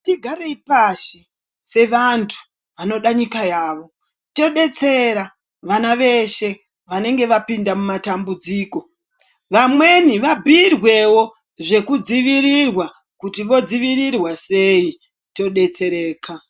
Ngatigarei pashi sevantu vanode nyika yavo todetsera vana veshe vanenga vapinda mumat ambudziko. Vamweni vabhirwewo zvekudzivirirwa kuti vodzivirirwa sei todetsereka.